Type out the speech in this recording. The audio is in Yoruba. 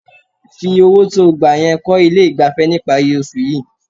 Fi owó tí ó gbà yẹn kọ́ ilé ìgbafẹ́ níparí oṣù yìí.